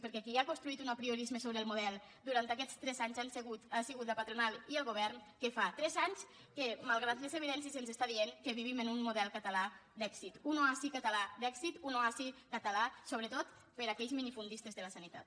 perquè qui ha construït un apriorisme sobre el model durant aquests tres anys han sigut la patronal i el govern que fa tres anys que malgrat les evidències ens està dient que vivim en un model català d’èxit un oasi català d’èxit un oasi català sobretot per a aquells minifundistes de la sanitat